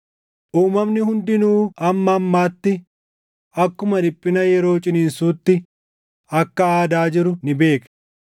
Uumamni hundinuu hamma ammaatti akkuma dhiphina yeroo ciniinsuutti akka aadaa jiru ni beekna.